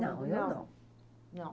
Não, eu não. Não.